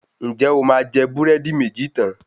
Ǹjẹ́ o máa jẹ búrẹ́dí méjì tán?